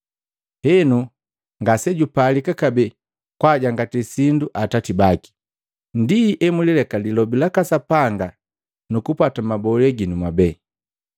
Henu ngasejupalika kabee kwaajangati sindu atati baki. Ndi emulileka lilobi laka Sapanga nukupwata mabolee ginu mwabee.